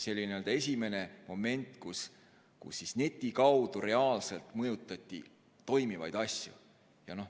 See oli esimene moment, kus neti kaudu reaalselt mõjutati toimivaid asju.